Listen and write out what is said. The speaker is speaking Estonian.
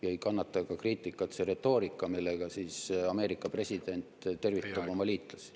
Ja kriitikat ei kannata ka see retoorika, millega Ameerika president tervitab oma liitlasi.